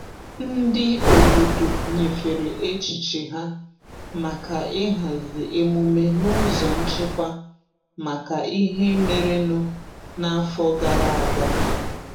Ndị obodo nyefere echiche ha maka ịhazi emume n'ụzọ nchekwa maka ihe merenụ n'afọ gara aga.